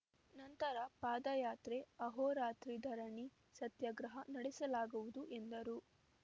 ನಂತರ ಪಾದಯಾತ್ರೆ ಆಹೋರಾತ್ರಿ ಧರಣಿ ಸತ್ಯಾಗ್ರಹ ನಡೆಸಲಾಗುವುದು ಎಂದರು